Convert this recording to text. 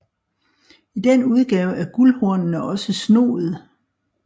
I den udgave er guldhornene også snoede